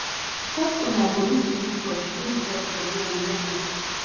pet owner go need to use brush clean di pet body on a regular